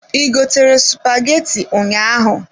I gotere spaghetti ụnyaahụ?